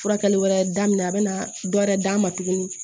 Furakɛli wɛrɛ daminɛ a bɛ na dɔ wɛrɛ d'a ma tuguni